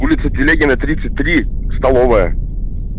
улица телегина тридцать три столовая